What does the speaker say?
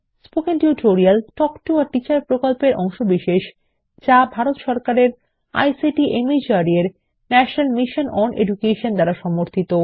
spoken tutorial talk to a teacher প্রকল্পের অংশবিশেষ যা ভারত সরকারের আইসিটি মাহর্দ এর ন্যাশনাল মিশন ওন এডুকেশন দ্বারা সমর্থিত